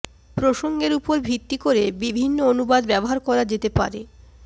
প্রসঙ্গের উপর ভিত্তি করে বিভিন্ন অনুবাদ ব্যবহার করা যেতে পারে